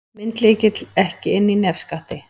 Myndlykill ekki inni í nefskatti